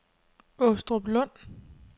Åstruplund